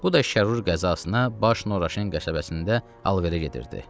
Bu da Şərur qəzasına Baş Nuraşın qəsəbəsində alverə gedirdi.